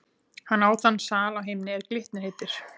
Hann á þann sal á himni, er Glitnir heitir.